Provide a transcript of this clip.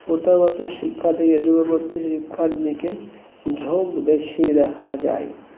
প্রথাগত শিক্ষা থেকে দূরবর্তী শিক্ষার দিকে ঝোঁক বেশি দেখা যায